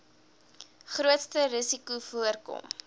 grootste risikos voorkom